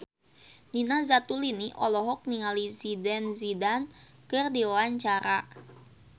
Nina Zatulini olohok ningali Zidane Zidane keur diwawancara